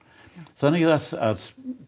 þannig að